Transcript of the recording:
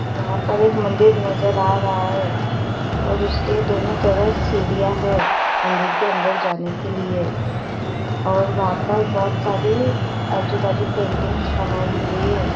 यंहा पर एक मंदिर नजर आ रहा है और उसके दोनों तरफ सीढ़िया है मंदिर के अंदर जाने के लिए और वहा पर बहोत सारी आजु बाजु पेंटिग्स बनाई हुई है।